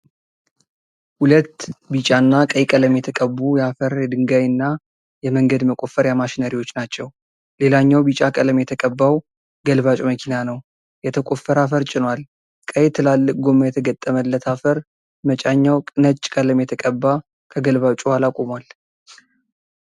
ሁለት ቢጫ እና ቀይ ቀለም የተቀቡ የአፈር፣ የድንጋይ እና የመንገድ መቆፈሪያ ማሽነሪዎች ናቸዉ። ሌላኛዉ ቢጫ ቀለም የተቀባዉ ገልባጭ መኪና ነዉ። የተቆፈረ አፈር ጭኗል። ቀይ ትላልቅ ጎማ የተገጠመለት አፈር መጫኛዉ ነጭ ቀለም የተቀባ ከገልባጩ ኋላ ቆሟል።